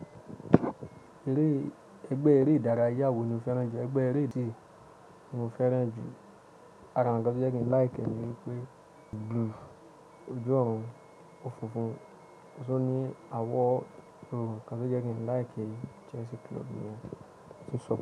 Eré ẹgbẹ́ eré ìdárayá wo ni o fẹ́ràn jù? Ẹgbẹ́ eléyi tí mo fẹ́ràn jù, àrà nkán tí ó jẹ́ kí n like e ni wípé blue, ojú ọ̀run, òfùnfun, ṣó ní àwọ̀ dúró nkán tí ó jẹ́ kí n like Chelsea club mi òní.